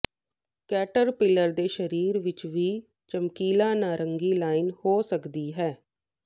caterpillar ਦੇ ਸਰੀਰ ਵਿੱਚ ਵੀ ਚਮਕੀਲਾ ਨਾਰੰਗੀ ਲਾਈਨ ਹੋ ਸਕਦੀ ਹੈ